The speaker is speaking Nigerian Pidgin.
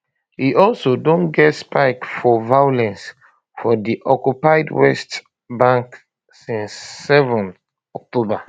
e also um don get spike for violence um for di occupied west bank since 7 october